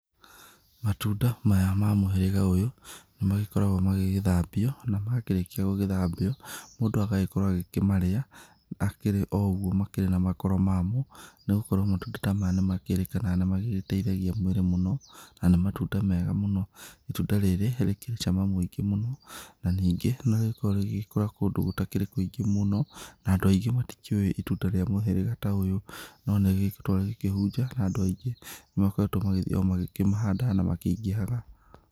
Matunda maya ma mũhĩrĩga ũyũ nĩ makoragwo magĩgĩthambio, na makĩrĩkia gũgĩthambio, mũndũ agagĩkorwo agĩkĩmarĩa akĩrĩ o ũguo makĩrĩ na makoro mamo, nĩ gũkorwo matunda ta maya nĩ makĩrĩkanaga nĩ magĩgĩteithia mwĩrĩ mũno, na nĩ matunda mega mũno. Itunda rĩrĩ rĩkĩrĩ cama mũingĩ mũno, na ningĩ nĩ rĩgĩkoragwo rĩgĩkũra kũndũ gũtakĩrĩ kũingĩ mũno, na andũ aingĩ matikĩũĩ itunda rĩa mũhĩrĩga ta ũyũ no nĩrĩkoretwo rĩkĩhunja na andũ aingĩ, nĩ makoretwo magĩthiĩ o makĩmahandaga na makĩingĩhaga.